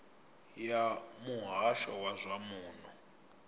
ya muhasho wa zwa muno